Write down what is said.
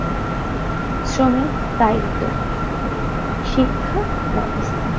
শ্রম এ দায়িত্ব শিক্ষা বেবস্থা